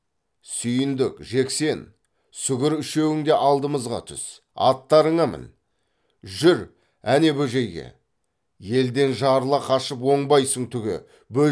сүйіндік жексен сүгір үшеуің де алдымызға түс аттарыңа мін жүр әне бөжейге елден жарыла қашып оңбайсың түге бөжейге барамыз